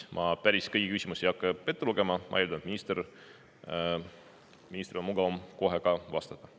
Ma päris kõiki küsimusi ei hakka ette lugema, ma eeldan, et ministril on mugavam kohe vastama hakata.